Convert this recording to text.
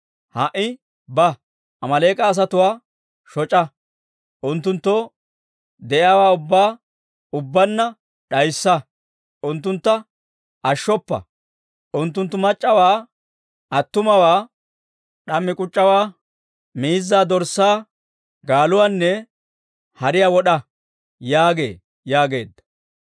Ha"i ba; Amaaleek'a asatuwaa shoc'a; unttunttoo de'iyaawaa ubbaa ubbaanna d'ayssa; unttuntta ashshoppa; unttuntta mac'c'awaa attumawaa, d'ammiyaawaa k'uc'c'iyaawaa, miizzaa, dorssaa, gaaluwaanne hariyaa wod'a› yaagee» yaageedda.